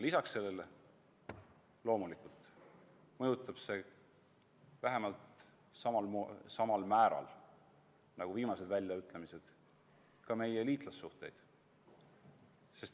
Lisaks sellele mõjutab see loomulikult vähemalt samal määral nagu viimased väljaütlemised ka meie liitlassuhteid.